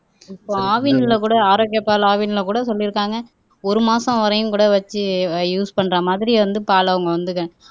இப்ப ஆவின்ல கூட ஆரோக்கிய பால் ஆவின்ல கூட சொல்லி இருக்காங்க ஒரு மாசம் வரையும் கூட வச்சு யூஸ் பண்ற மாதிரி வந்து பால் அவங்க வந்து